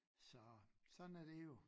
Så sådan er det jo